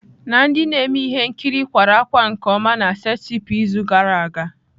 Na ndị na-eme ihe nkiri kwara ákwá nke ọma na setịpụ izu gara aga.